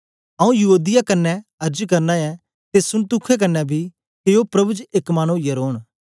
आऊँ यूओदिया क्न्ने अर्ज करना ऐ ते सुन्तुखे क्न्ने बी के ओ प्रभु च एक मन ओईयै रौन